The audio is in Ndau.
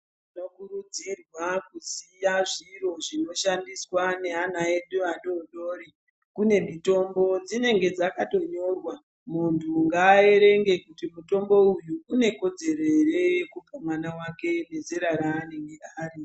Tinokurudzirwa kuziya zviro zvinoshandiswa ngeana edu adodori. Kune mitombo dzinenge dzakatonyorwa. Munthu ngaaerenge kuti mutombo uyu une kodzero ere yekupa mwana wake nezera raanenge ari.